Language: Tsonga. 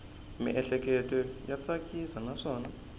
miehleketo ya tsakisa naswona